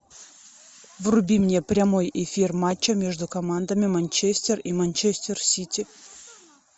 вруби мне прямой эфир матча между командами манчестер и манчестер сити